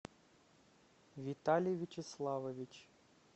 виталий вячеславович